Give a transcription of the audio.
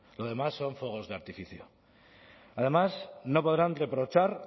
lo demás son fuegos de artificio además no podrán reprochar